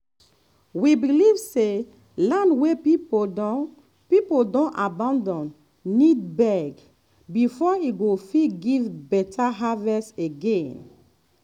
we believe say land wey people don people don abandon need beg before e go fit give better harvest again.